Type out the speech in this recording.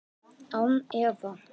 Án efa